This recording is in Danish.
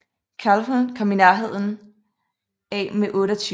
Calhoun kom i nærheden af med 28